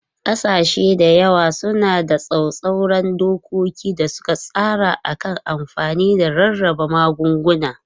Kasashe da yawa suna da tsauraran dokoki da suka tsara a kan amfani da rarraba magunguna.